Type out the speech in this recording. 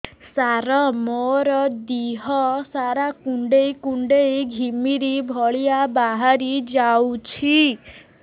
ସାର ମୋର ଦିହ ସାରା କୁଣ୍ଡେଇ କୁଣ୍ଡେଇ ଘିମିରି ଭଳିଆ ବାହାରି ଯାଉଛି